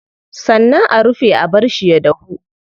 Sannan a rufe a barshi ya dahu.